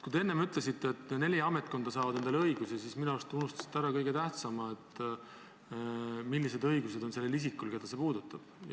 Kui te enne ütlesite, et neli ametkonda saavad endale õigusi juurde, siis minu arust unustasite te ära kõige tähtsama – selle, millised õigused on sellel isikul, keda see puudutab.